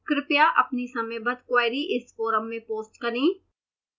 कृपया अपनी समयबद्ध queries इस forum में post करें